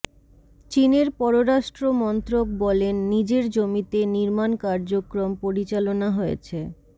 চীনের পররাষ্ট্র মন্ত্রক বলেন নিজের জমিতে নির্মাণ কার্যক্রম পরিচালনা হয়েছে